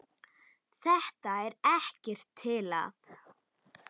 Þetta er ekkert til að.